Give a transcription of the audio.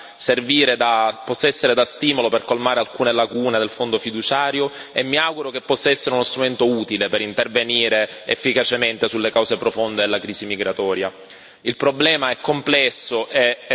Io spero che questa relazione possa servire da stimolo per colmare alcune lacune del Fondo fiduciario e mi auguro che possa essere uno strumento utile per intervenire efficacemente sulle cause profonde della crisi migratoria.